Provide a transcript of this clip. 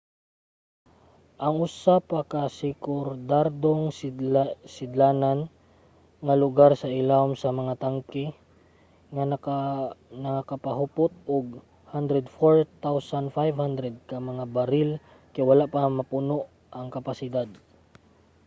ang usa pa ka sekundaryong sidlanan nga lugar sa ilawom sa mga tangke nga makahupot og 104,500 ka mga baril kay wala pa mapuno ang kapasidad